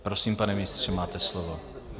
Prosím, pane ministře, máte slovo.